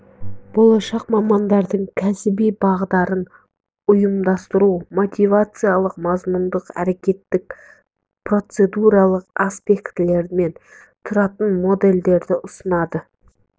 болашақ мамандардың кәсіби бағдарын ұйымдастыруды мотивациялық мазмұндық әрекеттік процедуралық аспектілерінен тұратын модельдерді ұсынады